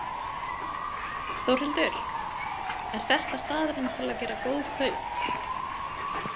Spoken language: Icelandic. Þórhildur: Er þetta staðurinn til að gera góð kaup?